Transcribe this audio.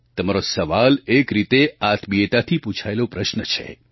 તમારો સવાલ એક રીતે આત્મીયતાથી પૂછાયેલો પ્રશ્ન છે